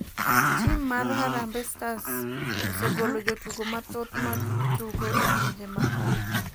Tim mar harambee stars osegolo jotugo mathoth ma tugo e pinje ma oko.